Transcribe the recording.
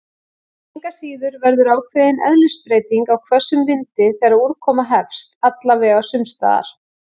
Engu að síður verður ákveðin eðlisbreyting á hvössum vindi þegar úrkoma hefst- alla vega sumstaðar.